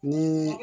Ni